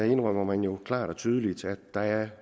indrømmer man jo klart og tydeligt at der i